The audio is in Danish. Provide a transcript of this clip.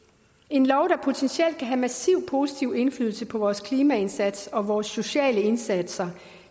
en lov der potentielt kan have massiv positiv indflydelse på vores klimaindsats og vores sociale indsatser